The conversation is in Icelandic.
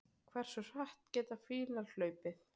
Hversu hratt geta fílar hlaupið?